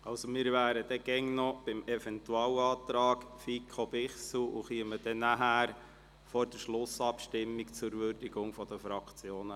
Wir beraten übrigens immer noch den Eventualantrag FiKo/Bichsel und kommen danach, vor der Schlussabstimmung, zur Würdigung durch die Fraktionen.